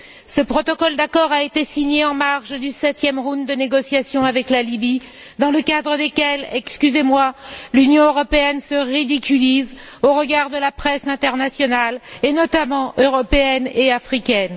Ce protocole d'accord a été signé en marge du septième round de négociations avec la Libye dans le cadre desquelles, excusez moi, l'Union européenne se ridiculise au regard de la presse internationale, et notamment européenne et africaine.